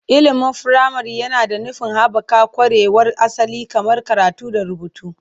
Ilimin firamare yana da nufin haɓaka ƙwarewar asali kamar karatu da rubutu.